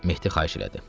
Mehdi xahiş elədi.